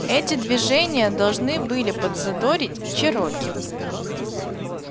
эти движения должны были подзадорить чероки